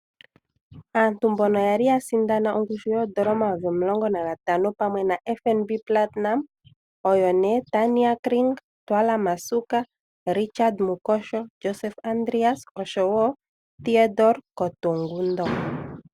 Aantu mboka yali ya sindana ongushu yoondola omayovi omulongo nagatano pamwe naFNB Platinum oyo nee Tanya Kring, Ntwala Masuka, Richard Mukosho, Josef Andreas osho wo Theodore Kotungondo.